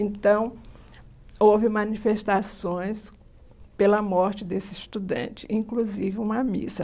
Então, houve manifestações pela morte desse estudante, inclusive uma missa.